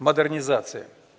модернизация